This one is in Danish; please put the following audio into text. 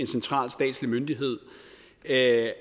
central statslig myndighed at